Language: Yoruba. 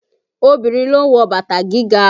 Obìnrin ló ń wọ bàtà gíga